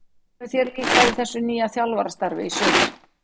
Hvernig hefur þér líkað í þessu nýja þjálfarastarfi í sumar?